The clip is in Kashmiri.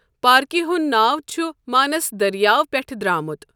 پاركہِ ہُند ناو چُھٖ مانس درِیاوٕ پیٹھہٕ درامُت۔